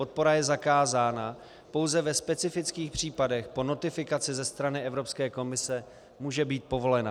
Podpora je zakázána, pouze ve specifických případech po notifikaci ze strany Evropské komise může být povolena.